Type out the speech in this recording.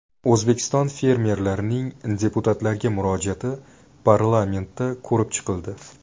O‘zbekiston fermerlarining deputatlarga murojaati parlamentda ko‘rib chiqildi.